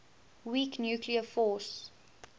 weak nuclear force